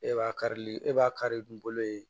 E b'a karili e b'a kari ni bolo ye